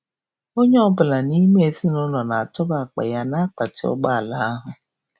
Onye ọ bụla n'ime ezinụlọ na-atụba akpa ya na akpati ụgbọ ala ahụ..